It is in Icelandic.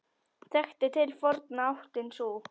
Þekkt til forna áttin sú.